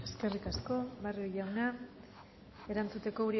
eskerrik asko barrio jauna erantzuteko